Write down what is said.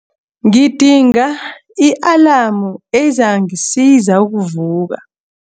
Ngidinga i-alamu ezangisiza ukuvuka.